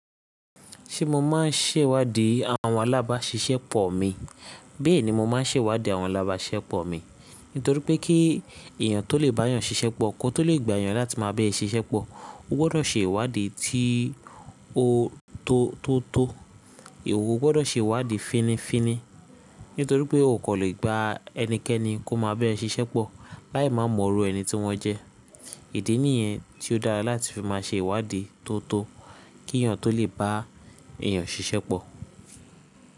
Ṣé mo máa ń ṣèwádìí àwọn alábáṣiṣẹ́ pọ̀ mi? Bẹ́ẹ̀ni mo máa ń ṣèwádìí àwọn alábáṣiṣẹ́ pọ̀ mi nítorí pé kí èèyàn tó lè bá èèyàn ṣiṣẹ́ pọ̀, kó tó lè gba èèyàn láti máa bẹ́ẹ̀ ṣiṣẹ́ pọ̀, ó gbọ́dọ̀ ṣe ìwádìí tí ó- tó, tótó. Ìwọ ó gbọ́dọ̀ ṣe ìwádìí fínnífínní nítorí pé o kò lè gba ẹnikẹ́ni kó má bẹ́ẹ̀ ṣiṣẹ́ pọ̀ láì má mọ irú ẹni tí wọ́n jẹ́. Ìdí nìyẹn tí ó dára láti fi máa ṣe ìwádìí tótó kí èèyàn tó lè bá èèyàn ṣiṣẹ́ pọ̀.